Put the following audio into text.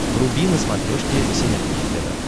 вруби на смотрешке синергия тв